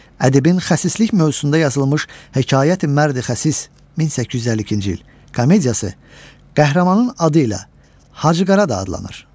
Ədibin xəsislik mövzusunda yazılmış Hekayəti Mərdi Xəsis (1852) komediyası qəhrəmanın adı ilə Hacı Qara da adlanır.